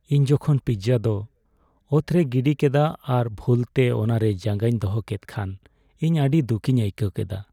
ᱤᱧ ᱡᱚᱠᱷᱚᱱ ᱯᱤᱡᱡᱟ ᱫᱚ ᱚᱛ ᱨᱮ ᱜᱤᱰᱤ ᱠᱮᱫᱟ ᱟᱨ ᱵᱷᱩᱞᱛᱮ ᱚᱱᱟᱨᱮ ᱡᱟᱸᱜᱟᱧ ᱫᱚᱦᱚ ᱠᱮᱫ ᱠᱷᱟᱱ ᱤᱧ ᱟᱹᱰᱤ ᱫᱩᱠᱤᱧ ᱟᱹᱭᱠᱟᱹᱣ ᱠᱮᱫᱟ ᱾